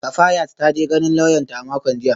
Kafayat ta je ganin lauyanta a makon jiya